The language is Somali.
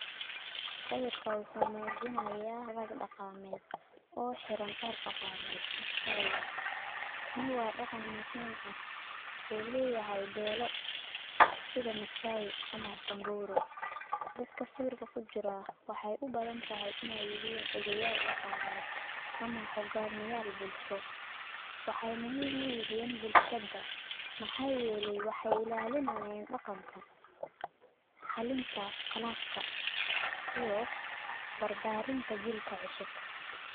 Sawirka wuxu mujinaya rag daqamed oo hiran dar dagamed oo massai ah, kani wa dagan muxiim ah, oo leyahay belo, sida masaai ama sanburu, dadka sawirka kujiraa waxay ubadantahay inay yixeen udeyal dagamed, ama hogamiyal bulsho, waxay muxiim uyixii bulshada maxa yeley waxay sadaliyan daganka, halinta qalafka, iyo barbarinta jiilka cusub.